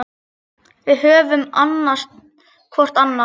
Við höfum annast hvor annan.